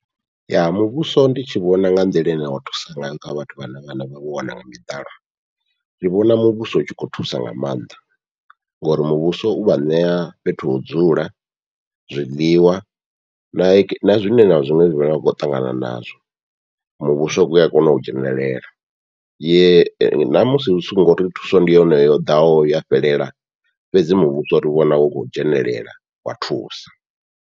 Ya muvhuso ndi tshi vhona nga nḓila ine wa thusa ngayo kha vhathu vhane vha na vha vho wana nga miḓalo, ndi vhona muvhuso utshi khou thusa nga maanḓa ngori muvhuso uvha ṋea fhethu ho dzula, zwiḽiwa na na zwiṅwe na zwiṅwe zwine vha vha kho ṱangana nazwo, muvhuso ua kona u dzhenelela namusi u songo ri thuso ndi yone yo ḓaho ya fhelela fhedzi muvhuso uri vhona u khou dzhenelela wa thusa.